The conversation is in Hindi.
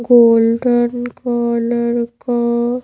गोल्डन कलर का --